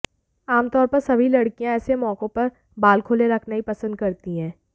आमतौर पर सभी लड़कियां ऐसे मौकों पर बाल खुले रखना ही पसंद करती हैं